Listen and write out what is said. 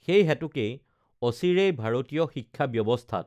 সেইহেতুকেই অচিৰেই ভাৰতীয় শিক্ষা ব্য‌ৱস্থাত